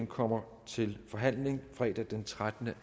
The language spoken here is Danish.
kommer til forhandling fredag den trettende